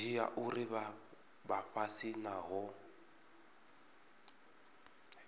dzhia uri vha fhasi havho